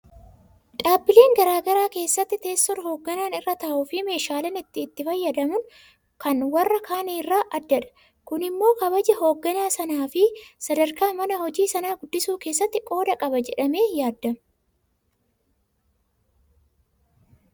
Dhaabbilee garaa garaa keessatti teessoon hoogganaan irra taa'uufi meeshaaleen inni itti fayyadamu kan warra kaanii irraa addadha. Kun immoo kabaja hoogganaa sanaafi sadarkaa mana hojii sanaa guddisuu keessatti qooda qaba jedhamee yaadama.